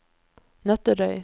Nøtterøy